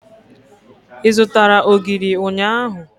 Ị zụtara ogiri ụnyaahụ?